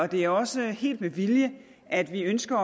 det er også helt med vilje at vi ønsker